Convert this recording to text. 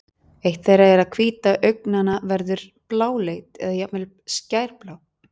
eitt þeirra er að hvíta augnanna verður bláleit eða jafnvel skærblá